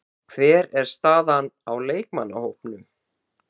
Hver er staðan á leikmannahópnum?